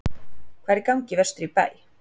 Hvað er í gangi vestur í bæ?